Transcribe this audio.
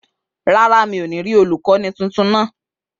Rárá, mi ò ní rí olùkọ́ni tuntun náà